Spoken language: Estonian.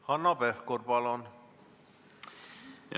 Hanno Pevkur, palun!